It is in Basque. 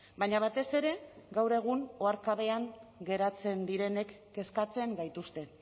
baina batez ere gaur egun oharkabean geratzen direnek kezkatzen gaituzte